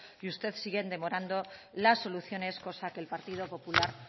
y ustedes siguen demorando las soluciones cosa que el partido popular